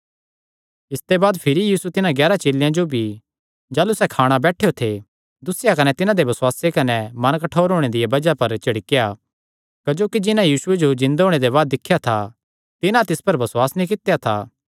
इसते बाद भिरी यीशु तिन्हां ग्यारां चेलेयां जो भी जाह़लू सैह़ खाणा बैठेयो थे दुस्सेया कने तिन्हां दे बेबसुआसे कने मन कठोर होणे दिया बज़ाह पर झिड़केया क्जोकि जिन्हां यीशुये जो जिन्दे होणे दे बाद दिख्या था तिन्हां तिस पर बसुआस नीं कित्या था